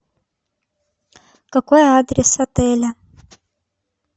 какой адрес отеля